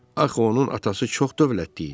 Axı onun atası çox dövlətli idi.